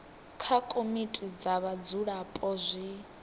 kha komiti dza vhadzulapo zwi